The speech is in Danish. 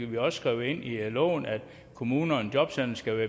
vi også skrevet ind i loven at kommunerne jobcentrene